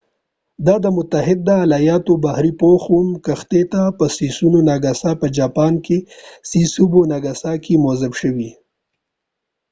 دا د متحده ایالاتو د بحرې پوخ اووم کښتۍ ته په سسیبو ناګاساکې sasebo nagasaki په جاپان کې موظف شوي